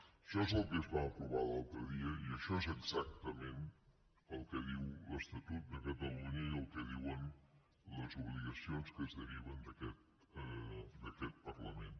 això és el que es va aprovar l’altre dia i això és exactament el que diu l’estatut de catalunya i el que diuen les obligacions que es deriven d’aquest parlament